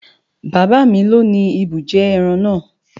Bàbá mi loni ibùjẹ ẹran naa